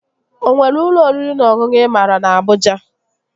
O nwere ụlọ oriri na ọṅụṅụ ị maara na Abụja?